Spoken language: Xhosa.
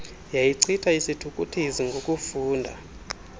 yayichitha isithukuthezi ngokufunda